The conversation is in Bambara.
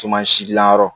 gilan yɔrɔ